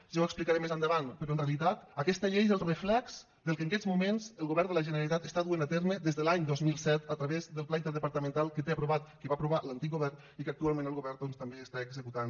ja ho explicaré més endavant però en realitat aquesta llei és el reflex del que en aquests moments el govern de la generalitat està duent a terme des de l’any dos mil set a través del pla interdepartamental que té aprovat que va aprovar l’antic govern i que actualment el govern doncs també està executant